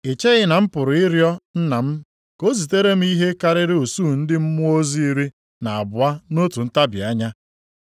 I cheghị na m pụrụ ịrịọ Nna m ka o zitere m ihe karịrị usuu ndị mmụọ ozi iri na abụọ nʼotu ntabi anya?